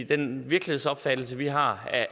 den virkelighedsopfattelse vi har af